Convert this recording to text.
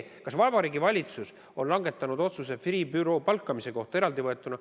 Kas Vabariigi Valitsus on langetanud otsuse Freeh' büroo palkamise kohta?